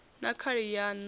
na khali ya nan o